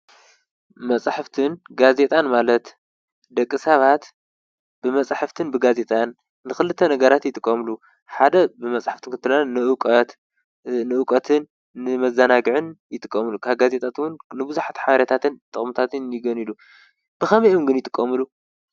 መፅሓፍትን ጋዜጣን ማለት ደቂ ሰባት ብመፅሓፍትን ብጋዜጠን ንኽልተ ነገራት ይጥቀሙሉ። ሓደ ብመፅሓፍቲ ንእውቀት ንመዘናግዕን ይጥቀሙሉ። ካብ ጋዜጣታን ንብዙሓት ሓበሬታትን ጥቕምታትን የግንዩሉ። ብኸመይ አዮም ግን ይጥቀምሉ ?